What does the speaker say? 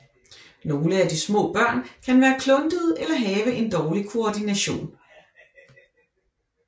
Nogle af de små børn kan være kluntede eller have en dårlig koordination